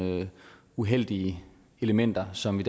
nogle uheldige elementer som vi